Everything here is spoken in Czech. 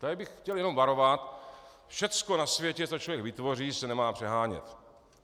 Tady bych chtěl jenom varovat: Všechno na světě, co člověk vytvoří, se nemá přehánět.